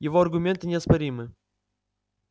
его аргументы неоспоримы